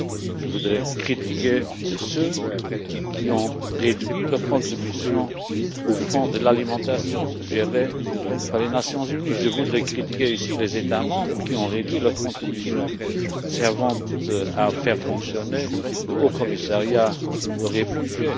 Je voudrais critiquer ceux qui ont réduit leur contribution au fonds de l'alimentation géré par les Nations unies. Je voudrais critiquer ici les États membres qui ont réduit leur contribution servant à faire fonctionner le Haut Commissariat pour les réfugiés.